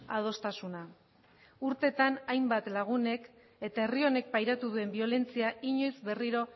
adostasuna urteetan hainbat lagunek eta herri honek pairatu duen biolentzia inoiz berriro